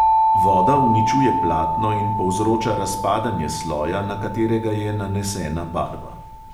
Voda uničuje platno in povzroča razpadanje sloja, na katerega je nanesena barva.